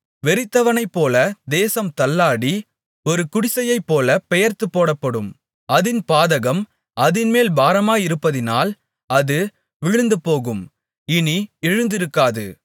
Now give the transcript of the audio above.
வெறித்தவனைப்போல தேசம் தள்ளாடி ஒரு குடிசையைப்போலப் பெயர்த்துப்போடப்படும் அதின் பாதகம் அதின்மேல் பாரமாயிருப்பதினால் அது விழுந்துபோகும் இனி எழுந்திருக்காது